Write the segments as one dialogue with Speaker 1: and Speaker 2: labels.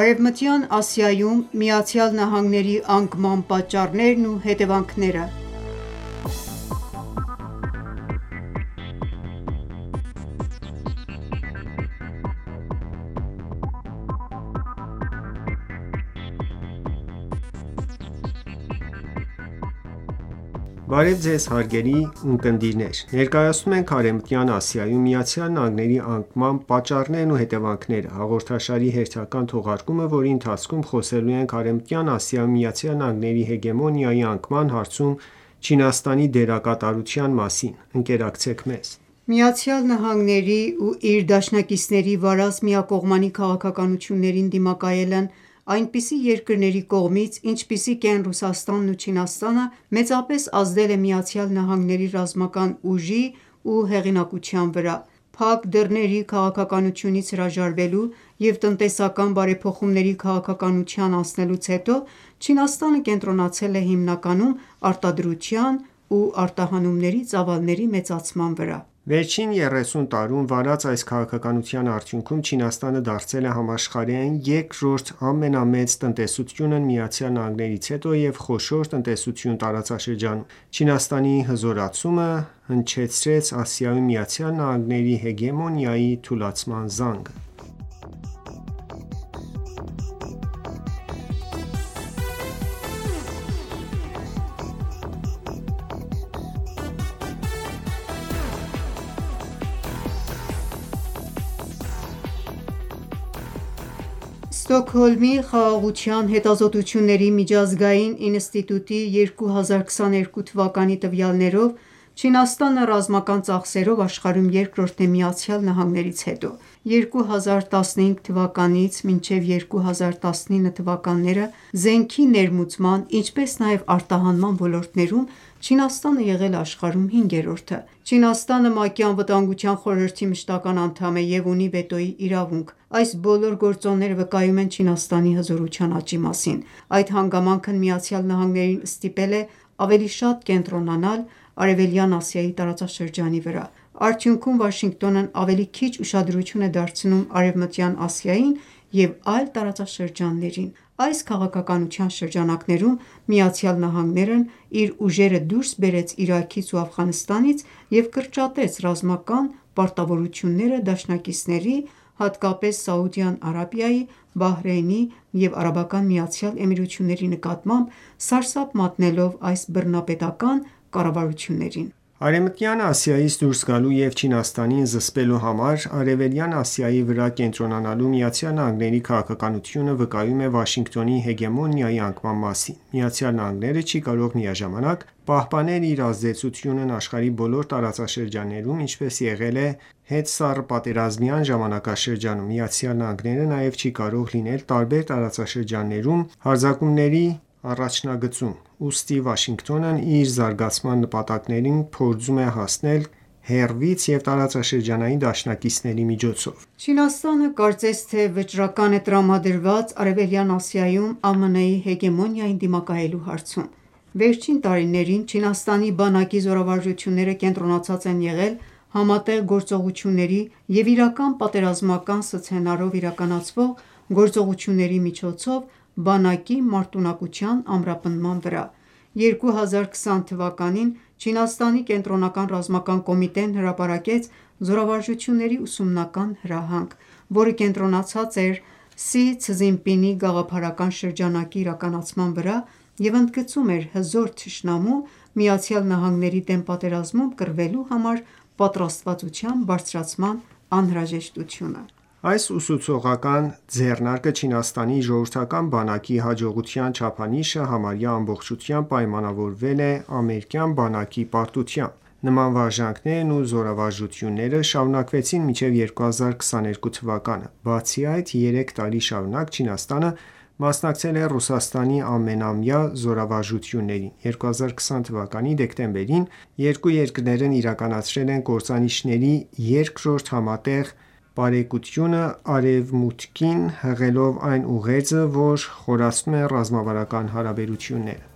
Speaker 1: Արևմտյան Ասիայում ԱՄՆ-ի անկման պատճառներն ու հետևանքները
Speaker 2: Բարև Ձեզ, հարգելի ունկնդիրներ: Ներկայացնում ենք «Արևմտյան Ասիայում ԱՄՆ-ի անկման պատճառներն ու հետևանքները» հաղորդաշարի հերթական թողարկումը, որի ընթացքում խոսելու ենք Արևմտայն Ասիայում ԱՄՆ-ի հեգեմոնիայի անկման հարցում Չինաստանի դերակատարութայն մասին:Ընկերակցեք մեզ:
Speaker 1: ԱՄՆ-ի ու իր դաշնակիցների վարած միակողմանի քաղաքականություններին դիմակայելն այնպիսի երկրների կողմից ինչպիսիք ենք Ռուսասtանն ու Չինաստանը, մեծապես ազդել է ԱՄՆ-ի ռազմական ուժի ու հեղինակության վրա: Փակ դռների քաղաքականությունից հրաժարվելու և տնտեսական բարեփոխումների քաղաքականության անցնելուց հետո, Չինաստանը կենտրոնացել է հիմնականում արտադրության ու արտահանումների ծավալների մեծացման վրա:
Speaker 2: Վերջին 30 տարում վարած այս քաղաքականության արդյունքում, Չինաստանը դարձել է համաշախրահային երկրորդ ամենամեծ տնտեսությունն ԱՄՆ-ից հետո և խոշոր տնտեսություն տարածաշրջանում: Չիանստանի հզորացումը հնչեցրեց Ասիայում ԱՄՆ-ի հեգեմոնիայի թուլացման զանգը:
Speaker 1: Ստոկհոլմի Խաղաղության հետազոտությունների միջազգային ինստիտուտի 2022 տվյալներով՝ Չինաստանը ռազմական ծախսերով աշխարհում երկրորդն է ԱՄՆ-ից հետո։ 2015-2019 թվականներին, զենքի ներմուծման ինչպես նաև արտահանման ոլորտներում Չինաստանը եղել է աշխարհում հինգերորդը: Չինաստանը ՄԱԿ ԱԽ մշտական անդամ է և ունի վետոյի իրավունք: Այս բոլոր գործոնները վկայում են Չինաստանի հզորության աճի մասին: Այդ հանգամանքն ԱՄՆ-ին ստիպել է ավելի շատ կենտրոնանալ Արևելյան Ասիայի տարածաշրջնաի վրա: Արդյունքում, Վաշինգտոնն ավելի քիչ ուշադրություն է դարձնում Արևմտյան Ասիային ու այլ տարածաշրջաններին: Այս քաղաքականության շրջանակներում ԱՄՆ-ն իր ուժերը դուրս բերեց Իրաքից ու Աֆղանստանից և կրճատեց ռազմական պարտավորությունները դաշնակիցների, հատկապես՝ Սաուդյան Արաբիայի, Բահրեյնի և ԱՄԷ-ի նկատմամբ, սարսափի մատնելով այս բռնապետական կառավարություններին:
Speaker 2: Արևմտյան Ասիայից դուրս գալու և Չինաստանին զսպելու համար Արևելյան Ասիայի վրա կենտրոնանալու ԱՄՆ-ի քաղաքականությունը վկայում է Վաշինգտոնի հեգեմոնիայի անկման մասին: ԱՄՆ-ն չի կարող միաժամանակ պահպանել իր ազդեցությունն աշխարհի տարբեր տարածաշրջաններում, ինչպես եղել է հետսառըպատերազմյան ժամանակաշրջանում: ԱՄՆ-ն նաև չի կարող լինել տարբեր տարածաշրջաններում հարձակումների առաջնագծում: Ուստի Վաշինգտոնն իր զարգացման նպատակներին փորձում է հասնել հեռվից և տարածաշրջանային դաշնակիցների միջոցով:
Speaker 1: Չինաստանը կարծես թե վճռական է տրամադրված Արևելյան Ասիայում ԱՄՆ-ի հեգեմոնիային դիմակայելու հարցում: Վերջին տարիներին Չինաստանի բանակի զորավարժությունները կենտրոնացած են եղել համատեղ գործողությունների և իրական պատերազմական սցենարով իրականացվող գործողությունների միջոցով բանակի մարտունակության ամրապնդման վրա: 2020թ. Չիանստանի կենտրոնական ռազմական կոմիտեն հրապարակեց զորավարժությունների ուսումնական հրահանգ, որը կենտրոնացած էր Սի Ցզինպինի գաղափարական շրջանակի իրականացման վրա և ընդգծում էր «հզոր թշնամու»՝ ԱՄՆ-ի դեմ պատերազմում կռվելու համար պատրաստվածության բարձրացման անհրաժեշտությունը:
Speaker 2: Այս ուսուցողական ձեռնարկը Չինաստանի ժողովրդական բանակի հաջողության չափանիշը համարյա ամբողջությամբ պայմանավորել է «ամերիկյան բանակի պարտությամբ»: Նման վարժանքներն ու զորավարժությունները շարունակվեցին մինչև 2022թ.: Բացի այդ, երեք տարի շարունակ, Չինաստանը մասնակցել է ՌԴ ամենամայա զորավարժություններին: 2020թ դեկտեմբերին երկու երկրներն իրականացրել են կործանիչների երկրորդ համատեղ պարեկությունը, Արևմուտքին հղելով այն ուղերձը, որ խորացնում են ռազմավարական հարաբերությունները: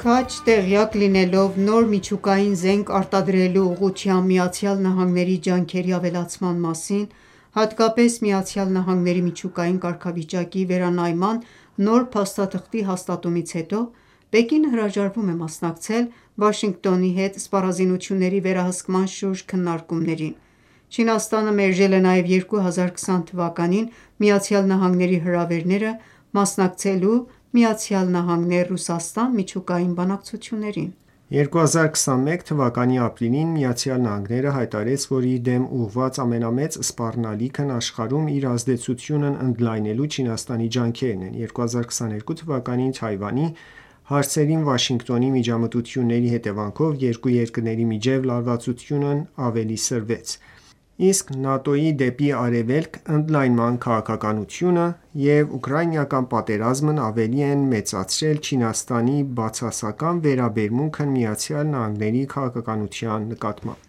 Speaker 1: Քաջ տեղյակ լինելով նոր միջուկային զենք արտադրելու ուղղությամբ Միացյալ Նահանգների ջանքերի ավելացման մասին, հատկապես ԱՄՆ միջուկային կարգավիճակի վերանայման նոր փաստաթղթի հաստատումից հետո, Պեկինը հրաժարվում է մասնակցել Վաշինգտոնի հետ սպառազինությունների վերահսկման շուրջ քննարկումներին: Չինաստանը մերժել է նաև 2020թ. ԱՄՆ-ի հրավերները՝ մասնակցելու ԱՄՆ-Ռուսաստան միջուկային բանակցություններին:
Speaker 2: 2021 թվականի ապրիլին ԱՄՆ-ն հայտարարեց, որ իր դեմ ուղղված ամենամեծ սպառնալիքն աշխարհում իր ազդեցությունն ընդլայնելու Չինաստանի ջանքերն են: 2022թ. Թայվանի հարցերին Վաշինգտոնի միջամտությունների հետևանքով, երկու երկրների միջև լարվածությունն ավելի սրվեց: Իսկ ՆԱՏՕ-ի դեպի արևելք ընդլայնման քաղաքականությունը և ուկրաինական պատերազմն ավելի են մեծացրել Չիանստանի բացասական վերաբերմունքն ԱՄՆ-ի քաղաքականության նկլատմամբ: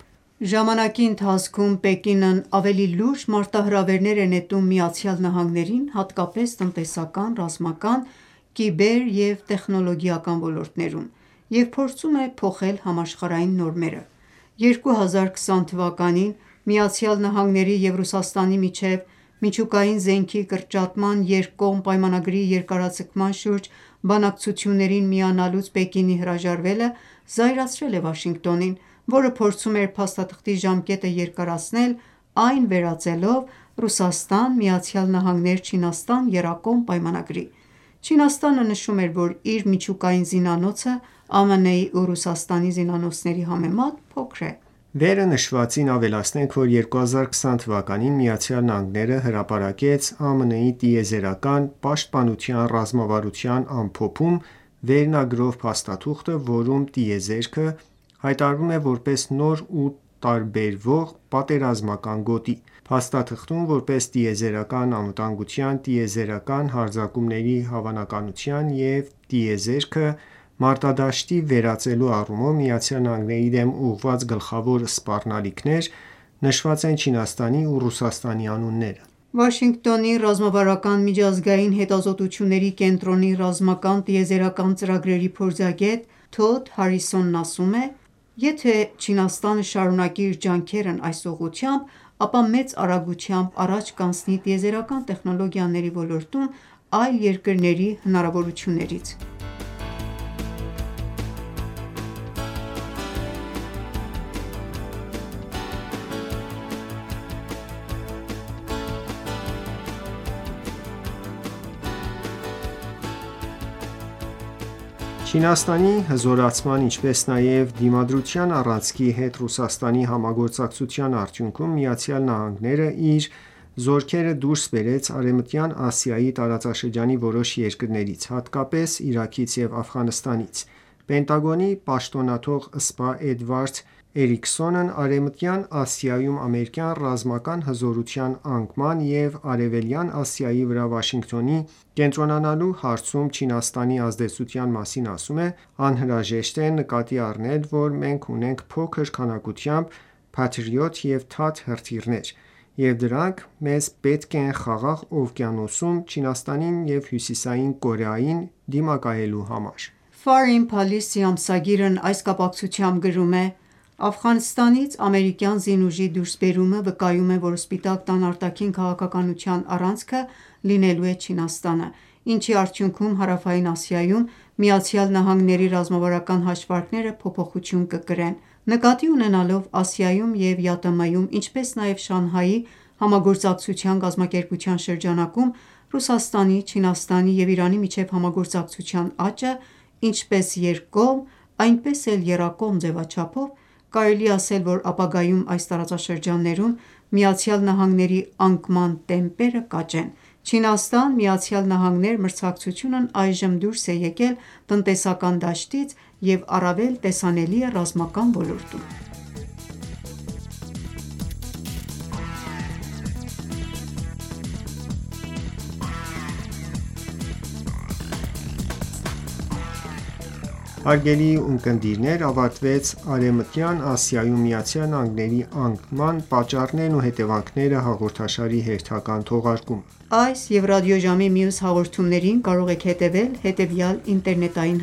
Speaker 1: Ժամանակի ընթացքում Պեկինն ավելի լուրջ մարտահրավերներ է նետում ԱՄՆ-ին, հատկապես՝ տնտեսական, ռազմական, կիբեր և տեխնոլոգիական ոլորտներում և փորձում է փոխել համաշխարհային նորմերը: 2020 թվականին ԱՄՆ-ի և Ռուսաստանի միջև միջուկային զենքի կրճատման երկկողմ պայմանագրի երկարաձգման շուրջ բանակցություններին միանալուց Պեկինի հրաժարվելը զայրացրել է Վաշինգտոնին, որը փորձում էր փաստաթղթի ժամկետը երկրացնել, այն վերածելով ՌԴ-ԱՄՆ-Չինաստան եռակողմ պայամանագրի: Չինաստանը նշում էր որ իր միջուկային զինանոցը, ԱՄՆ-ի ու Ռուսատսանի զինանոցների համեմատ, փոքր է:
Speaker 2: Վերը նշվածին ավելացնենք, որ 2020թ ԱՄՆ-ն հրապարակեց «ԱՄՆ տիեզերական պաշտպանության ռազմավարության ամփոփում» վերնագրով փաստաթուղթը, որում տիեզերքը հայտարարվում է որպես նոր ու տարբերվող պատերազմական գոտի։ Փաստաթղթում, որպես տիեզերական անվտանգության, տիեզերական հարձակումների հավանականության և տիեզերքը մարտադաշտի վերածելու առումով ԱՄՆ-ի դեմ ուղղված գլխավոր սպառնալիքներ, նշված են Չինաստանի ու Ռուսաստանի անունները:
Speaker 1: Վաշինգտոնի Ռազմավարական միջազգային հետազոտությունների կենտրոնի ռազմական տիեզերական ծրագրերի փորձագետ Թոդ Հարիսոնն ասում է. «Եթե Չինաստանը շարունակի իր ջանքերն այս ուղղությամբ, ապա մեծ արագությամբ առաջ կանցնի տիեզերական տեխնոլոգիաների ոլորտում այլ երկրների հնարավորություններից»:
Speaker 2: Չինաստանի հզորացման, ինչպես նաև Դիմադրության առանցքի հետ Ռուսաստանի համագործակցության արդյունքում, ԱՄՆ-ն իր զորքերը դուրս բերեց Արևմտյան Ասիայի տարածաշրջանի որոշ երկրներից, հատկապես՝ Իրաքից և Աֆղանստանից։ Պենտագոնի պաշտոնաթող սպա Էդվարդ Էրիքսոնն Արևմտյան Ասիայում ամերիկյան ռազմական հզորության անկման և Արևելյան Ասիայի վրա Վաշինգտոնի կենտրոնանալու հարցում Չինաստանի ազդեցության մասին ասում է. «Անհրաժեշտ է նկատի առնել, որ մենք ունենք փոքր քանակությամբ Patriot և THAAD հրթիռներ, և դրանք մեզ պետք են Խաղաղ օվկիանոսում Չինաստանին և Հյուսիսային Կորեային դիմակայելու համար»:
Speaker 1: Foreign Policy ամսագիրն այս կապակցությամբ գրում է. «Աֆղանստանից ամերիկյան զինուժի դուսրբերումը վկայում է, որ Սպիտակ տան արտաքին քաղաքականության առանցքը լինելու է Չինաստանը, ինչի արդյունքում, Հարավային Ասիայում ԱՄՆ-ի ռազմավարական հաշվարկները փոփոխություն կկրեն»: Նկատի ունենալով Ասիայում և ԵԱՏՄ-ում, ինչպես նաև Շանհայի համագործակցության կազմակերպության շրջանակում Ռուսաստանի, Չինաստանի և Իրանի միջև համագործակցության աճը՝ ինչպես երկկողմ, այնպես էլ եռակողմ ձևաչափով, կարելի է ասել, որ ապագայում այս տարածաշրջաններում ԱՄՆ-ի անկման տեմպերը կաճեն: Չինաստան-ԱՄՆ մրցակցությունն այժմ դուրս է եկել տնտեսական դաշտից և առավել տեսանելի է ռազմական ոլորտում։
Speaker 2: Հարգելի ունկնդիրներ, ավարտվեց «Արևմտյան Ասիայում ԱՄՆ-ի անկման պատճառներն ու հետևանքները» հաղորդաշարի հերթական թողարկումը:
Speaker 1: Այս և ռադիոժամի մյուս հաղորդումներին կարող եք հետևել հետևյալ ինտերնետային